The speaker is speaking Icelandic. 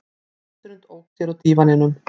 Gesturinn ók sér á dívaninum.